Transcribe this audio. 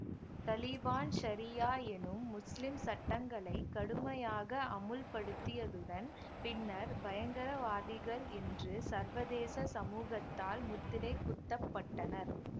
தலீபான் ஷரியா எனும் முஸ்லிம் சட்டங்களை கடுமையாக அமுல்படுத்தியதுடன் பின்னர் பயங்கரவாதிகள் என்று சர்வதேச சமூகத்தால் முத்திரை குத்தப்பட்டனர்